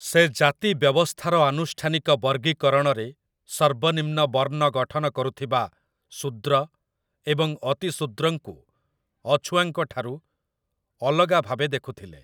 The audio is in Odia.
ସେ ଜାତି ବ୍ୟବସ୍ଥାର ଆନୁଷ୍ଠାନିକ ବର୍ଗୀକରଣରେ ସର୍ବନିମ୍ନ ବର୍ଣ୍ଣ ଗଠନ କରୁଥିବା ଶୂଦ୍ର ଏବଂ ଅତିଶୂଦ୍ରଙ୍କୁ ଅଛୁଆଁଙ୍କ ଠାରୁ ଅଲଗା ଭାବେ ଦେଖୁଥିଲେ ।